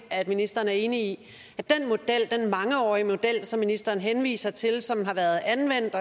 ministeren er enig i at den mangeårige model som ministeren henviser til som har været anvendt